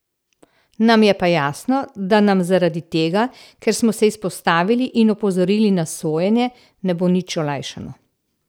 Nam je pa jasno, da nam zaradi tega, ker smo se izpostavili in opozorili na sojenje, ne bo nič olajšano.